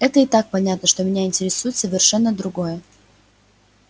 это и так понятно но меня интересует совершенно другое